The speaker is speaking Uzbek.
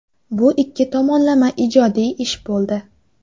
Bu ikki tomonlama ijodiy ish bo‘ldi.